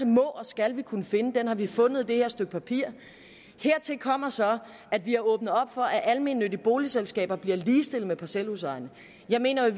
må og skal vi kunne finde den har vi fundet med det her stykke papir hertil kommer så at vi har åbnet for at almennyttige boligselskaber bliver ligestillet med parcelhusejere jeg mener i